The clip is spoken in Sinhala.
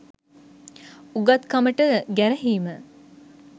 උගත්කමට ගැරහීම